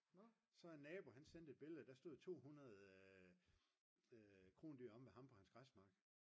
så en nabo han sendte et billede der stod 200 krondyr omme ved ham på hans græsmarker